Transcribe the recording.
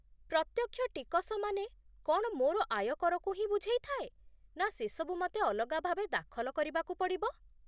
ପ୍ରତ୍ୟକ୍ଷ ଟିକସ ମାନେ କ'ଣ ମୋର ଆୟକରକୁ ହିଁ ବୁଝେଇଥାଏ, ନା ସେସବୁ ମତେ ଅଲଗା ଭାବେ ଦାଖଲ କରିବାକୁ ପଡ଼ିବ ?